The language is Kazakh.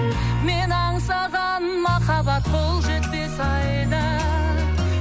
мен аңсаған махаббат қол жетпес айда